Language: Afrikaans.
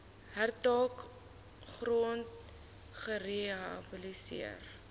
hektaar grond gerehabiliteer